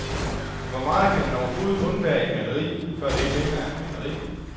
Men hvor meget kan man overhovedet undvære i et maleri, før det ikke længere er et maleri?